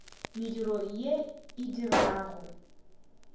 mediro ye a e dirago